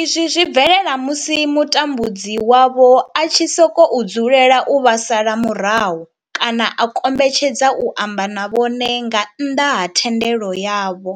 izwi zwi bvelela musi mutambudzi wavho a tshi sokou dzulela u vha sala murahu kana a kombetshedza u amba na vhone nga nnḓa ha thendelo yavho.